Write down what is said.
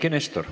Eiki Nestor.